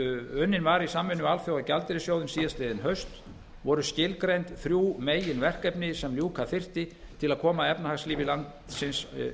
unnin var í samvinnu við alþjóðagjaldeyrissjóðinn síðastliðið haust voru skilgreind þrjú meginverkefni sem ljúka þyrfti til að koma efnahagslífi landsins